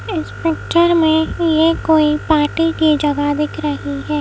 Inspector में ही है कोई पार्टी की जगह दिख रही है।